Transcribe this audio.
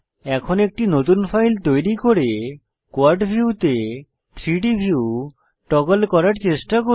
এখন একটি নতুন ফাইল তৈরি করে কোয়াড ভিউতে 3ডি ভিউ টগল করার চেষ্টা করি